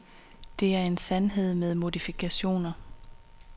Det er en sandhed med modifikationer.